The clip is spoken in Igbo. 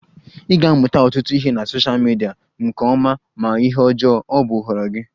Ị ga-amụta ọtụtụ ihe na sosha midia, ma nke ọma ma ihe ọjọọ, ọ bụ nhọrọ gị